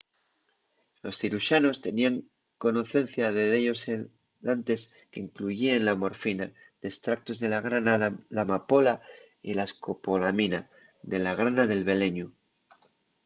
los ciruxanos teníen conocencia de dellos sedantes qu’incluyíen la morfina d’estractos de la grana de l’amapola y la escopolamina de la grana del beleñu